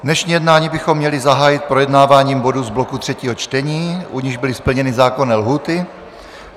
Dnešní jednání bychom měli zahájit projednáváním bodů z bloku třetího čtení, u nichž byly splněny zákonné lhůty.